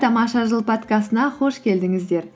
тамаша жыл подкастына қош келдіңіздер